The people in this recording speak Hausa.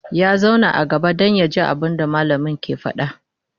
ya zauna a gaba Dan yaji abunda mallamin ke faɗa